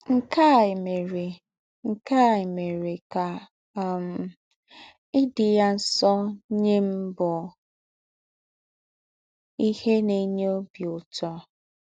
Nkè à èmèrè Nkè à èmèrè kà um ídí̄ yá nsọ́ nyẹ́ m bụ̀ íhè nà-ènýẹ́ ọ́bì ứtọ̀.